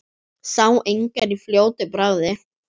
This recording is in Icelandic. Sá engar í fljótu bragði.